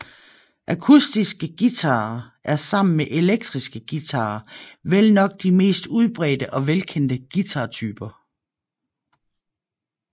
Akustiske guitarer er sammen med elektriske guitarer vel nok de mest udbredte og velkendte guitartyper